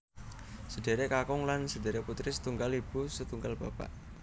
Sedherek kakung lan sedherek putri setunggal ibu setunggal bapak